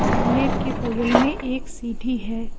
झूले के बगल में एक सीढ़ी है।